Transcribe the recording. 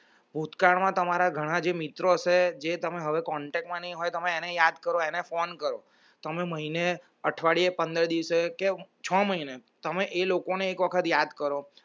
ભૂતકાળ માં તમારા ઘણા જે મિત્રો છે જે તમે હવે contact માં નહીં હોય તમે એને યાદ કરો એને phone કરો તમે મહિને અઠવાડિયે પંદરે દિવસે કે છ મહીને તમે એ લોકોને એક વખત યાદ કરો